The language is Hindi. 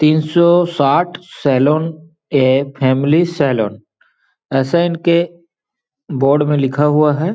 तीन सौ साठ सेलोन ए फैमिली सेलोन ऐसा इनके बोर्ड में लिखा हुआ हैं।